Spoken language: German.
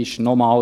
Noch einmal: